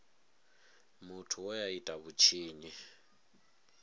muthu we a ita vhutshinyi